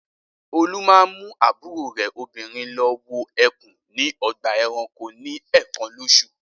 Olú máa ń mú àbúrò rẹ̀ obìnrin lọ wo ẹkùn ní ọgbà-ẹranko ní ẹ̀ẹ̀kan lóṣù.